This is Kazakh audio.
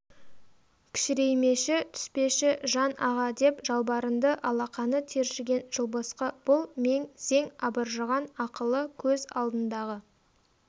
кішіреймеші түспеші жан аға деп жалбарынды алақаны тершіген жылбысқы бұл мең-зең абыржыған ақылы көз алдындағы